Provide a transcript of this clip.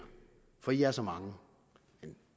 for i er så mange